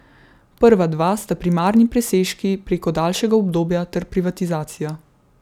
Prva dva sta primarni presežki preko daljšega obdobja ter privatizacija.